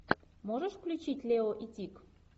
можешь включить лео и тиг